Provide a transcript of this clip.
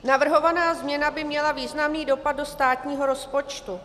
Navrhovaná změna by měla významný dopad do státního rozpočtu.